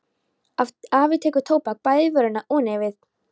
Afi tekur tóbak bæði í vörina og nefið.